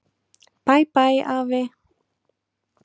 Bæ bæ, afi.